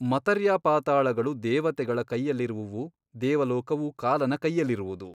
ಮತರ್ಯ್ಪಾತಾಳಗಳು ದೇವತೆಗಳ ಕೈಯಲ್ಲಿರುವುವು ದೇವಲೋಕವು ಕಾಲನ ಕೈಯಲ್ಲಿರುವುದು.